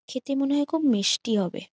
খেতে মনে হয় খুব মিষ্টি-ই হবে।